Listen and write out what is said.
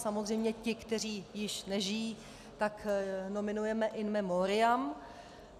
Samozřejmě ty, kteří již nežijí, tak nominujeme in memoriam.